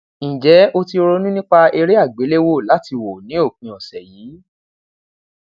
njẹ o ti ronu nipa ere agbelewo lati wo ni opin ọsẹ yii